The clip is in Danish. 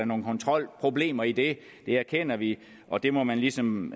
nogle kontrolproblemer i det det erkender vi og det må man ligesom